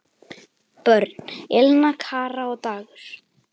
Börn: Elena, Kara og Dagur.